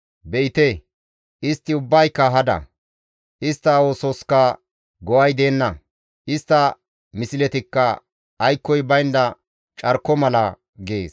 Be7ite istti ubbayka hada; istta oososka go7ay deenna; istta misletikka aykkoy baynda carko mala» gees.